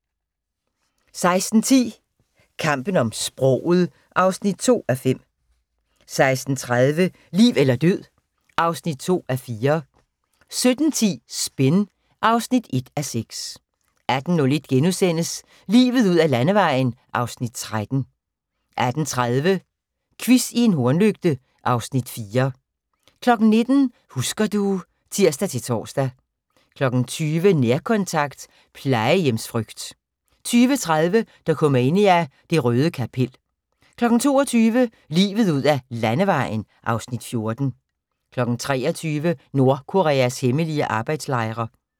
16:10: Kampen om sproget (2:5) 16:30: Liv eller død (2:4) 17:10: Spin (1:6) 18:01: Livet ud ad Landevejen (Afs. 13)* 18:30: Quiz i en hornlygte (Afs. 4) 19:00: Husker du ... (tir-tor) 20:00: Nærkontakt – plejehjemsfrygt 20:30: Dokumania: Det røde kapel 22:00: Livet ud ad Landevejen (Afs. 14) 23:00: Nordkoreas hemmelige arbejdslejre